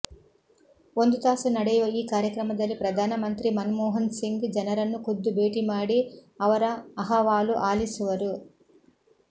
ಒಂದು ತಾಸು ನಡೆಯುವ ಈ ಕಾರ್ಯಕ್ರಮದಲ್ಲಿ ಪ್ರಧಾನಮಂತ್ರಿ ಮನಮೋಹನ್ಸಿಂಗ್ ಜನರನ್ನು ಖುದ್ದು ಭೇಟಿ ಮಾಡಿ ಅವರ ಅಹವಾಲು ಆಲಿಸುವರು